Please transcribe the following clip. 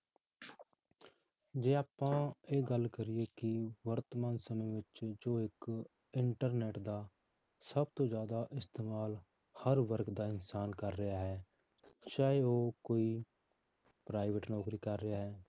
ਜੇ ਆਪਾਂ ਇਹ ਗੱਲ ਕਰੀਏ ਕਿ ਵਰਤਮਾਨ ਸਮੇਂ ਵਿੱਚ ਜੋ ਇੱਕ internet ਦਾ ਸਭ ਤੋਂ ਜ਼ਿਆਦਾ ਇਸਤੇਮਾਲ ਹਰ ਵਰਗ ਦਾ ਇਨਸਾਨ ਕਰ ਰਿਹਾ ਹੈ ਚਾਹੇ ਉਹ ਕੋਈ private ਨੌਕਰੀ ਕਰ ਰਿਹਾ ਹੈ